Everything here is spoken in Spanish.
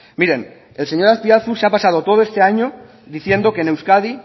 miren el señor azpiazu se ha pasado todo este año diciendo que en euskadi